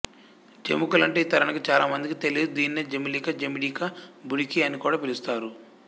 జముకులంటే ఈ తరానికి చాల మందికి తెలియదు దీనినే జమిలిక జమిడిక బుడికి అని కూడా పిలుస్తారు